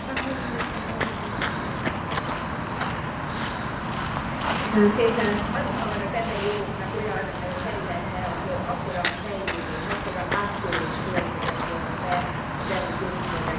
Aligha van az emberi jogoknak olyan területe, ahol akkora a fejlődés, akkora áttörés következett volna be az elmúlt évtizedekben, mint a fogyatékos vagy fogyatékkal élő emberek jogainak a területe.